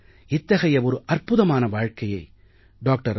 இத்தகைய ஒரு அற்புதமான வாழ்க்கையை டாக்டர்